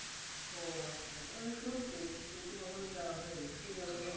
ও আচ্ছা শুনছি কিন্তু কখনো যাওয়া হয়নি সুযোগ হলে